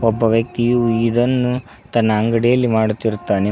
ಮತ್ತು ವ್ಯಕ್ತಿಯು ಇದನ್ನು ತನ್ನ ಅಂಗಡಿಯಲ್ಲಿ ಮಾಡುತ್ತಿರುತ್ತಾನೆ.